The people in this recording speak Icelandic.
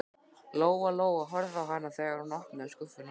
Lóa Lóa horfði á hana þegar hún opnaði skúffuna.